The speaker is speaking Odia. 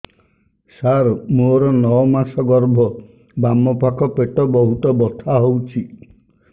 ସାର ମୋର ନଅ ମାସ ଗର୍ଭ ବାମପାଖ ପେଟ ବହୁତ ବଥା ହଉଚି